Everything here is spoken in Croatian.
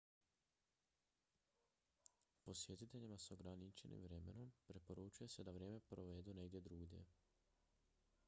posjetiteljima s ograničenim vremenom preporučuje se da vrijeme provedu negdje drugdje